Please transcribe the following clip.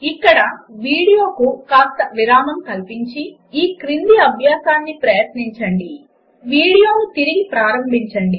ఇక్కడ వీడియోకు కాస్త విరామం కల్పించి ఈ క్రింది అభ్యాసాన్ని ప్రయత్నించి వీడియోను పునఃప్రారంభించండి